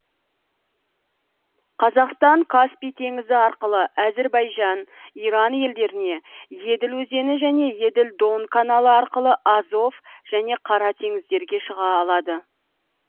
қазақстан каспий теңізі арқылы әзірбайжан иран елдеріне еділ өзені және еділ дон каналы арқылы азов және қара теңіздерге шыға алады